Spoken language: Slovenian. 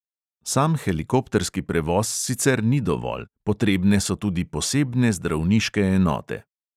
Sam helikopterski prevoz sicer ni dovolj, potrebne so tudi posebne zdravniške enote.